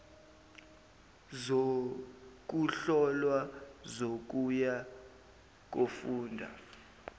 zokuhlolwa zokuya kofunda